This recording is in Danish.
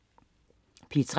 P3: